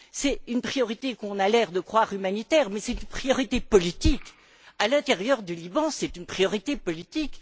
C'est une priorité qu'on a l'air de croire humanitaire mais c'est une priorité politique. À l'intérieur du Liban, c'est une priorité politique.